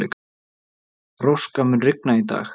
Róska, mun rigna í dag?